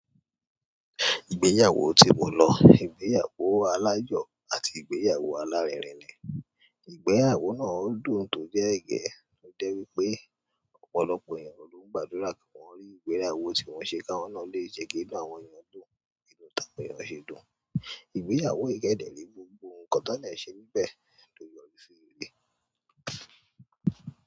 Ìgbéyàwó tí mo lọ, ìgbéyàwó aláyọ̀ àti ìgbéyàwó alárinrin ni. Ìgbéyàwó náà dùn tó jẹ́ ẹ̀gẹ́, ó jẹ́ wípé ọ̀pọ̀lọpọ̀ ènìyàn ló ń gbàdúrà kí wọ́n rí ìgbéyàwó tí wọ́n ṣe káwọn náà lè jẹ́ kí inú àwọn ènìyàn dùn, bi inú tiwọn ṣe dùn. Ìgbéyàwó yìí kẹ́dẹ̀ re gbogbo ǹkan tán, dẹ ṣe nbẹ́ẹ̀ ló yọrí sí rere.